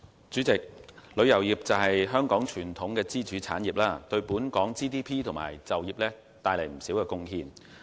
主席，旅遊業是香港傳統支柱產業，對本港 GDP 和就業帶來不少貢獻。